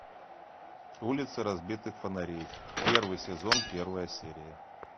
улицы разбитых фонарей первый сезон первая серия